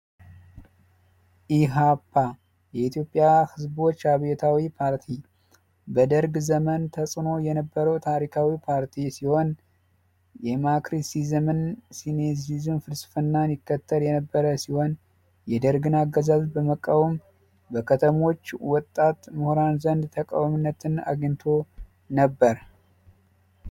የኢትዮጵያ ዝቦች አብዮታዊ ፖርቲ በደርግ ዘመን የነበረ ታሪካዊ ፓርቲ ሲሆን የማክሲዝምና ሴኒሲዝምን ፍልስፍና ይከተል የነበረ ሲሆን የደርግ ነገዛዝ በመቃወም በከተማዎች ወጣት ምሁራን ዘንድ ተቀባይነትን አግኝቶ ነበር።